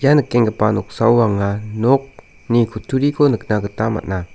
ia nikenggipa noksao anga nokni kutturiko nikna gita man·a.